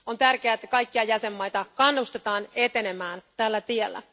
On tärkeää, että kaikkia jäsenmaita kannustetaan etenemään tällä tiellä.